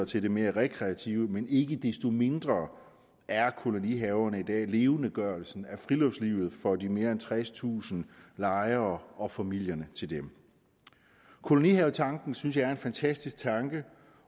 til det mere rekreative men ikke desto mindre er kolonihaverne i dag levendegørelsen af friluftslivet for de mere end tredstusind lejere og familierne til dem kolonihavetanken synes jeg er en fantastisk tanke